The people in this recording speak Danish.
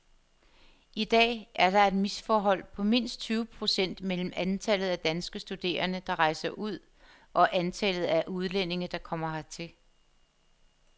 I dag er der et misforhold på mindst tyve procent mellem antallet af danske studerende, der rejser ud og antallet af udlændinge, der kommer hertil.